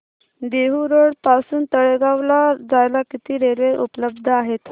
Dehu road पासून तळेगाव ला जायला किती रेल्वे उपलब्ध आहेत